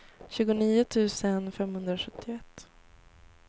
tjugonio tusen femhundrasjuttioett